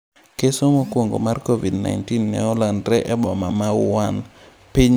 Keso mokwongo mar Covid-19 ne olandre e boma ma Wuhan, piny China e dwe mar apar gi ariyo.